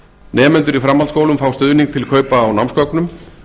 nemendur í framhaldsskólum fá stuðning til kaupa á námsgögnum